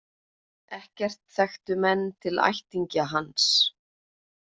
Ekkert þekktu menn til ættingja hans.